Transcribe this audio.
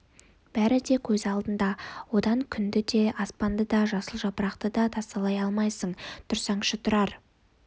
бәрі де көз алдында одан күнді де аспанды да жасыл жапырақты да тасалай алмайсың тұрсаңшы тұрар